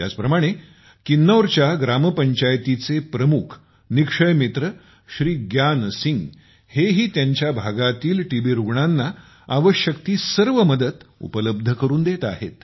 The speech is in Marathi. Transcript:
त्याचप्रमाणे किन्नौरच्या ग्रामपंचायतीचे प्रमुख निक्षय मित्र श्री ग्यान सिंह यांनाही त्यांच्या भागातील टीबी रुग्णांना आवश्यक ती सर्व मदत उपलब्ध करून देत आहेत